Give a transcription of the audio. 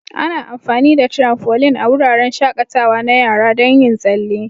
Ana amfani da tramfoline a wuraren shakatawa na yara don yin tsalle.